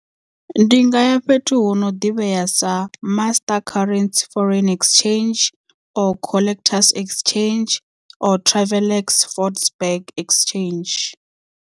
Ndi nga ya fhethu hu no ḓivhea sa master currency foreign exchange or collectors exchange or travel ex ford burg exchange.